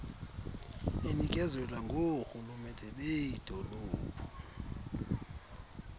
inikezelwa ngoorhulumente beedolophu